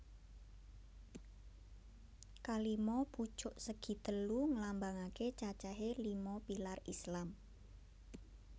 Kalima pucuk segitelu ngelambangake cacahé lima pilar Islam